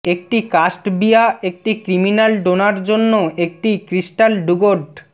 একটি কাস্টবিয়া একটি ক্রিমিনাল ডোনার জন্য একটি ক্রিস্টাল ডুগড